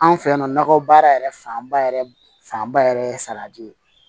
Anw fɛ yan nɔkɔ baara yɛrɛ fanba yɛrɛ fanba yɛrɛ ye salati ye